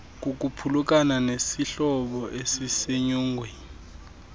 kukuphulukana nesihlobo esisenyongweni